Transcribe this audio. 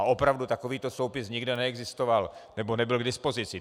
A opravdu takovýto soupis nikde neexistoval, nebo nebyl k dispozici.